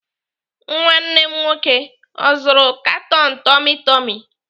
Nwanne m nwoke ọ zụrụ katon tummy tummy?